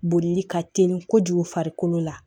Bolili ka teli kojugu farikolo la